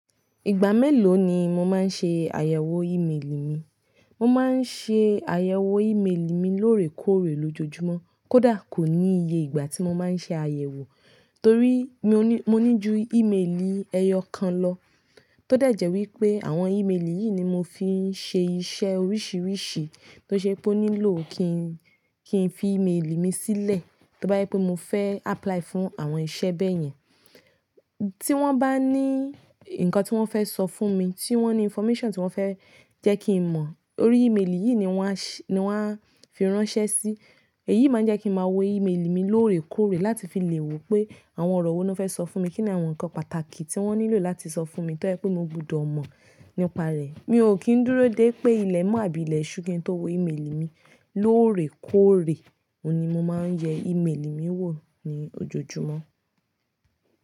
Ìgbà mélòó ni mo máa ń ṣe àyẹ̀wò ìmeèlì mi? Mo máa ń ṣe àyẹ̀wò ìmeèlì mi lóòrèkóòrè lójoojúmọ́. Kódà kò ní iye ìgbà tí mo máa ń ṣe àyẹ̀wò, torí mò ní, mo ní ju ìmeèlì ẹyọ̀ kan lọ tó dẹ̀jẹ̀ wípé àwọn ìmeèlì yìí ni mo fi ń ṣe iṣẹ́ oríṣiríṣi tó ṣe pé ó nílò kí n, kí n fi ìmeèlì mi sílẹ̀. Tí ó bá jẹ pé mo fẹ́ apply fún àwọn ìṣẹ bẹ́ẹ̀ yẹn, tí wọ́n bá ní nǹkan tí wọ́n fẹ́ sọ fún mi, tí wọ́n ní information tí wọ́n fẹ́ jẹ́ kí n mọ̀, orí ìmeèlì yìí ni wọ́n a ṣ-- ni wọ́n a fi ránṣẹ́ sí. Èyí máa jẹ́ kí n máa wo ìmeèlì mi lóòrèkóòrè láti fi lè wò pé àwọn ọ̀rọ̀ wo ni wọ́n fẹ́ sọ fún mi, kíni àwọn nǹkan pàtàkì tí wọ́n nílò láti sọ fún mi tí ó jẹ pé mo gbọdọ̀ mọ̀ nípa rẹ̀. Mi ò kí ń dúró dé pé ilẹ̀ mọ́ àbí ilẹ̀ ṣú ki n tó wo ìmeèlì mi. Lóòrèkóòrè, òun ni mo máa ń yẹ ìmeèlì mi wò ní ojoojúmọ́.